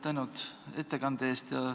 Tänu ettekande eest!